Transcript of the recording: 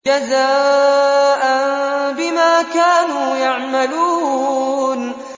جَزَاءً بِمَا كَانُوا يَعْمَلُونَ